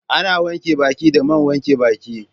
Ana wanke baki da man wanke baki